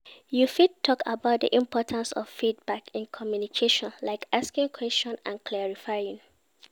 You fit talk about di importance of feedback in communication, like asking questions and clarifying.